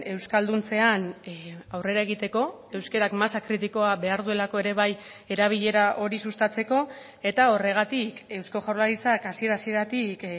euskalduntzean aurrera egiteko euskarak masa kritikoa behar duelako ere bai erabilera hori sustatzeko eta horregatik eusko jaurlaritzak hasiera hasieratik